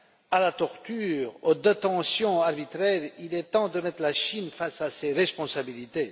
à la torture et aux détentions arbitraires, il est temps de mettre la Chine face à ses responsabilités.